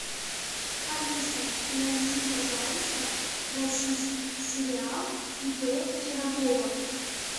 алиса найди пожалуйста российский сериал ип пирогова